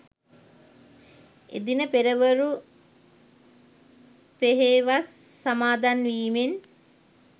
එදින පෙරවරු පෙහෙවස් සමාදන් වීමෙන්